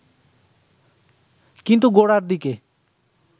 কিন্তু গোড়ার দিকে